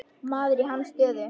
Maður í hans stöðu.